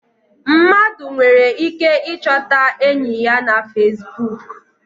Mmadụ nwere ike I chọta enyị ya na Fesbụụk.